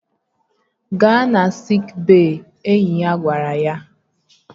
Gaa na siik bey! Enyi ya gwara ya